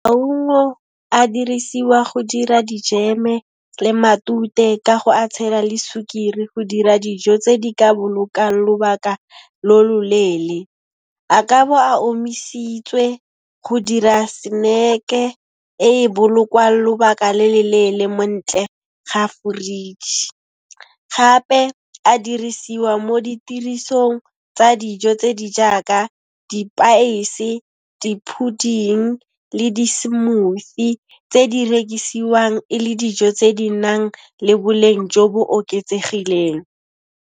Maungo a dirisiwa go dira dijeme le matute ka go a tshela le sukiri go dira dijo tse di ka bolokang lobaka lo loleele. A ka bo a omisitswe go dira snack-e e e bolokwang lobaka le le leele montle ga foreji. Gape a dirisiwa mo ditirisong tsa dijo tse di jaaka dipaese di pudding le di smoothie tse di rekisiwang e le dijo tse di nang le boleng jo bo oketsegileng.